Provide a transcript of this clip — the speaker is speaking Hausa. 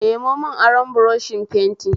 Nemo mun aron buroshin fenti